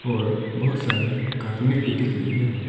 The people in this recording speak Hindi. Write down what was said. और बहुत सारे कार्टूने भी दिख रही है।